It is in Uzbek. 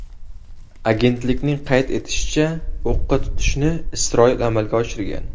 Agentlikning qayd etishicha, o‘qqa tutishni Isroil amalga oshirgan.